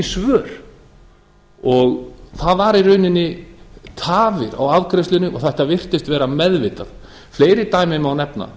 það voru í rauninni tafir á afgreiðslunni og þetta virtist vera meðvitað fleiri dæmi má nefna